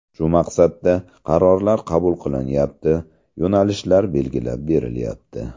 Shu maqsadda qarorlar qabul qilinyapti, yo‘nalishlar belgilab berilyapti.